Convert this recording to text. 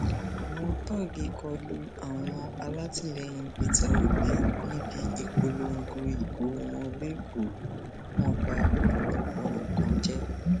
àwọn tóògì kọ lu àwọn alátìlẹyìn peter obi níbi ìpolongo ìbò wọnlẹkọọ wọn ba ọpọlọpọ nǹkan jẹ